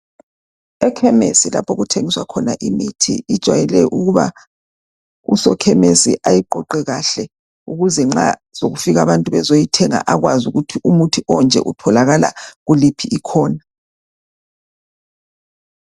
Ekhemesi lapho okuthengiswa khona imithi injwale ukuba usokhemesi ayogoqe kahle ukuze nxa sokufika abantu bezoyithenge akawazi kuthi umuthi onje otholakala kuliphi ikhona.